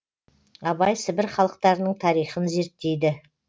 абай сібір халықтарының тарихын зерттейді